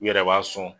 U yɛrɛ b'a sɔn